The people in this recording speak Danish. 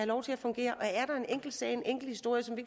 lov til at fungere og en enkelt sag en enkelt historie som vi